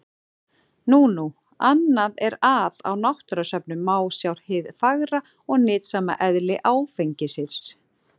Nú nú, annað er að á náttúrusöfnum má sjá hið fagra og nytsama eðli áfengisins.